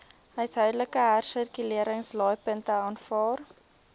huishoudelike hersirkuleringsaflaaipunte aanvaar